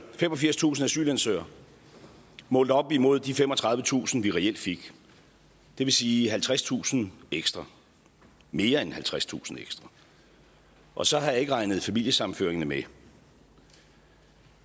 femogfirstusind asylansøgere målt op imod de femogtredivetusind vi reelt fik det vil sige halvtredstusind ekstra mere end halvtredstusind ekstra og så har jeg ikke regnet familiesammenføringerne med